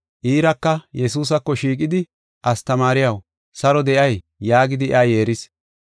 Iiraka Yesuusako shiiqidi, “Astamaariyaw, saro de7ay” yaagidi iya yeeris.